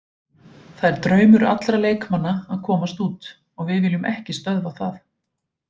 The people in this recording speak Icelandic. Það er draumur allra leikmanna að komast út og við viljum ekki stöðva það.